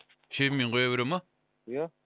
шебеньмен құя бере ма ия